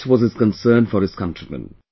Such was his concern for his countrymen